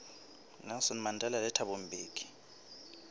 nelson mandela le thabo mbeki